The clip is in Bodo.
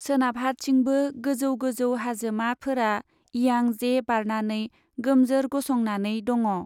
सोनाबहा थिंबो गोजौ गोजौ हाजोमा फोरा इयां जे बारनानै गोमजोर गसंनानै दङ।